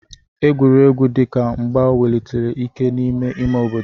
Egwuregwu dị ka mgba wulitere ike ha n'ime ime obodo.